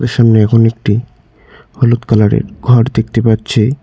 সামনে এখন একটি হলুদ কালার -এর ঘর দেখতে পাচ্ছি।